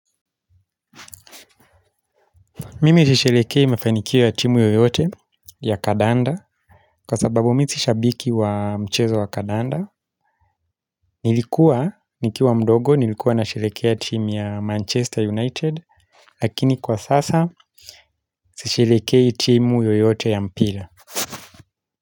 Mimi sisheherekei mefanikio ya timu yoyote ya kandanda kwa sababu mimi si shabiki wa mchezo wa kandanda. Nilikuwa nikiwa mdogo nilikuwa nasheherekei ya timu ya Manchester United. Lakini kwa sasa sisheherekei timu yoyote ya mpira.